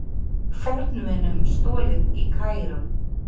Fornmunum stolið í Kaíró